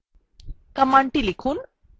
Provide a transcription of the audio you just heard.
commandthe লিখুন :